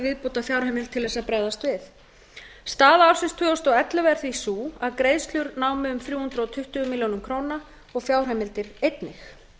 viðbótarfjárheimild til að bregðast við staða ársins tvö þúsund og ellefu er því sú að greiðslur námu um þrjú hundruð tuttugu milljónir króna og fjárheimildir einnig